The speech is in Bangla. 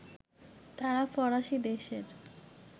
তাঁরা ফরাসি দেশের